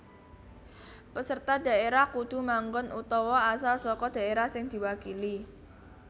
Peserta dhaérah kudu manggon utawa asal saka dhaérah sing diwakili